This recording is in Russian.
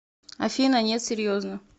афина нет серьезно